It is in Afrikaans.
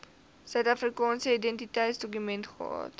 suidafrikaanse identiteitsdokument gehad